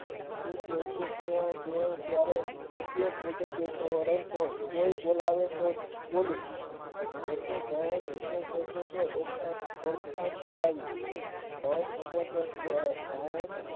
તે માનતા કોઈ બોલવા તો જ બોલવું તેની ઓળખાણ કરાવી એમાં